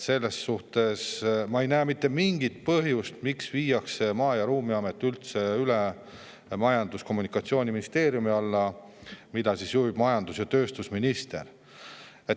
Selles mõttes ma ei näe mitte mingit põhjust, miks viiakse Maa- ja Ruumiamet Majandus- ja Kommunikatsiooniministeeriumi alla, mida juhib majandus- ja tööstusminister.